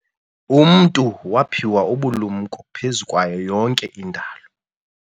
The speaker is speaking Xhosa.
Umntu waphiwa ubulumko phezu kwayo yonke indalo.